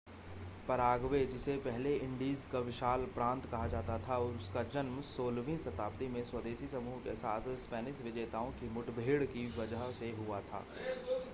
Paraguay जिसे पहले Indies का विशाल प्रांत कहा जाता था उसका जन्म 16वीं शताब्दी में स्वदेशी समूहों के साथ स्पेनिश विजेताओं की मुठभेड़ की वजह से हुआ था